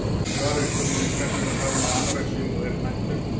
Í svari við spurningunni Hvers vegna fær maður anorexíu og er hún hættuleg?